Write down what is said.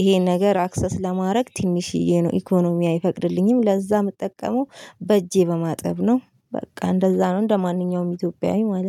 ይሄን ነገር አክሰስ ለማድረግ ትንሽዬ ነው ኢኮኖሚዬ አይፈቅድልኝም። ለዛ እምጠቀመው በእጄ በማጠብ ነው። በቃ እንደዛ ነው እንደማንኛውም ኢትዮጵያዊ ማለት